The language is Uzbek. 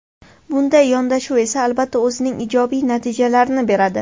Bunday yondashuv esa albatta, o‘zining ijobiy natijalarini beradi.